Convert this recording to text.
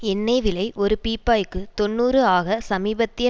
எண்ணெய் விலை ஒரு பீப்பாய்க்கு தொன்னூறு ஆக சமீபத்திய